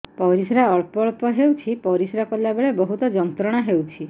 ପରିଶ୍ରା ଅଳ୍ପ ଅଳ୍ପ ହେଉଛି ପରିଶ୍ରା କଲା ବେଳେ ବହୁତ ଯନ୍ତ୍ରଣା ହେଉଛି